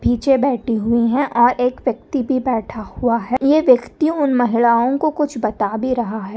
पीछे बैठे हुई है और एक व्यक्ति भी बैठा हुआ है ये व्यक्ति उन महिलाओ को कुछ बता भी रहा है।